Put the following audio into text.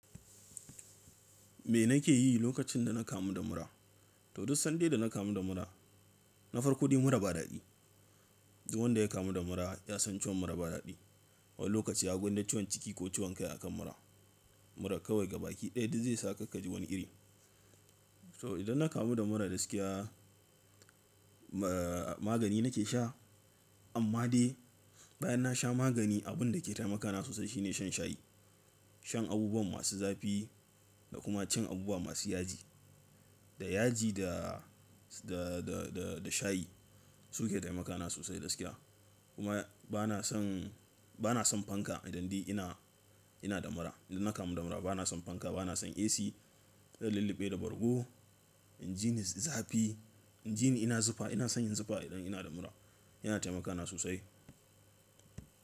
Me nake yi lokacin da na kamu da mura? To duk sanda ina kamu da mura, na farko dai mura ba daɗi. Duk wanda ya kamu da mura ya san ciwon mura ba daɗi. Wani lokaci ya gona ciwon ciki ko ciwon kai a kan mura. Mura kawai gaba ki ɗaya dai zai saka ka ji wani iri. So idan na kamu da mura gaskiya, ma-magani nake sha amma dai bayan na sha magani abun da ke taimaka na sosai shine shan shayi. Shan abubuwa masu zafi da kuma cin abubuwa masu yaji. Da yaji da, da, da, da, da shayi su ke taimaka na sosai gaskiya. Kuma bana son, bana son fanka idan dai ina, ina da mura. Idan na kamu da mura bana son fanka, bana son AC. Zan lulluɓe da bargo, inji ni zafi, inji ni ina zufa ina son yin zufa idan ina da mura yana taimaka na sosai.